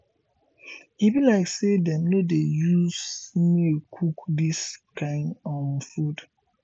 e be like say dem no dey use snail cook dis kin um food